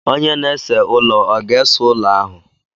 Onye na-ese ụlọ ọ ga ese ụlọ ahụ?